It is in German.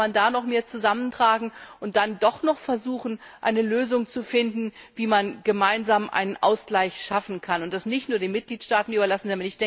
Vielleicht kann man da noch mehr zusammentragen und dann versuchen, doch noch eine Lösung zu finden, wie man gemeinsam einen Ausgleich schaffen kann, und das nicht nur den Mitgliedstaaten überlassen.